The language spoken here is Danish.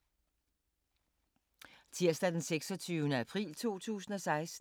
Tirsdag d. 26. april 2016